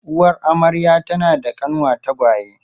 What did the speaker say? Uwar amarya tana da kanwa tagwaye.